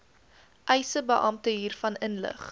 eisebeampte hiervan inlig